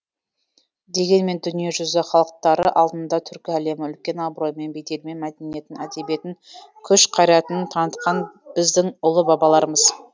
дегенмен дүние жүзі халықтары алдында түркі әлемі үлкен абыроймен беделмен мәдениетін әдебиетін күш қайратын танытқан біздің ұлы бабаларымыз